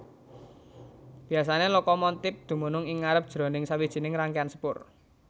Biasané lokomontip dumunung ing ngarep jroning sawijining rangkéan sepur